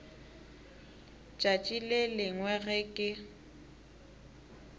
tšatši le lengwe ge ke